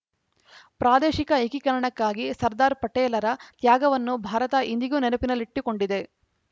ಪ್ರಾದೇಶಿಕ ಏಕೀಕರಣಕ್ಕಾಗಿ ಸರ್ದಾರ್‌ ಪಟೇಲರ ತ್ಯಾಗವನ್ನು ಭಾರತ ಇಂದಿಗೂ ನೆನಪಿನಲ್ಲಿಟ್ಟುಕೊಂಡಿದೆ